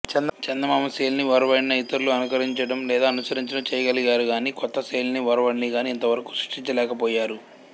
చందమామ శైలిని ఒరవడిని ఇతరులు అనుకరించడం లేదా అనుసరించడం చెయ్యగలిగారుగాని కొత్త శైలినిగాని ఒరవడినిగాని ఇంతవరకు సృష్టించలేక పోయారు